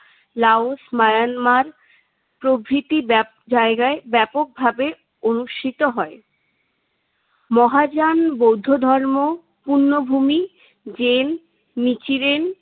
Laos, Myanmar প্রভৃতি ব্যাপ জায়গায় ব্যাপকভাবে অনুষ্ঠিত হয়। মহাযান বৌদ্ধ ধর্ম, পুণ্যভূমি, জেম, নিখিরেন